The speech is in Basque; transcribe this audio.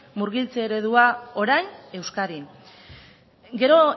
murgiltze eredua orain euskadin gero